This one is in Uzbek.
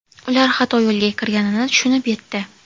Ular xato yo‘lga kirganini tushunib yetdi.